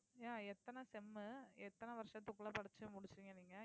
yeah எத்தனை sem எத்தனை வருஷத்துக்குள்ள படிச்சு முடிச்சீங்க நீங்க